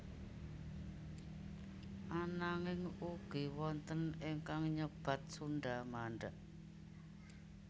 Ananging ugi wonten ingkang nyebat Sundha Mandha